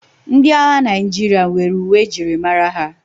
Ndị agha Naịjirịa nwere uwe e ji mara ha.